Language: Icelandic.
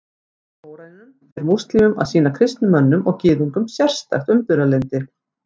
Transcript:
Samkvæmt Kóraninum ber múslímum að sýna kristnum mönnum og Gyðingum sérstakt umburðarlyndi.